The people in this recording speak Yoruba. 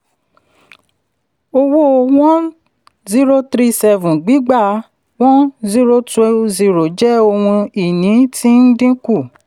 owó one zero three seven gbígbà one zero two zero jẹ́ ohun ìní tí ń dínkù.